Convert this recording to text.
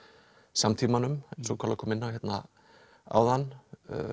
samtímanum eins og kolla kom inn á hérna áðan